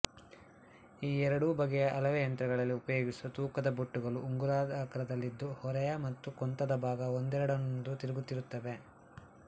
ಈ ಎರಡೂ ಬಗೆಯ ಅಳೆವ ಯಂತ್ರಗಳಲ್ಲಿ ಉಪಯೋಗಿಸುವ ತೂಕದ ಬೊಟ್ಟುಗಳು ಉಂಗುರದಾಕಾರದಲ್ಲಿದ್ದು ಹೊರೆಯ ಮತ್ತು ಕೊಂತದ ಭಾಗ ಒಂದರೊಡನೊಂದು ತಿರುಗುತ್ತಿರುತ್ತವೆ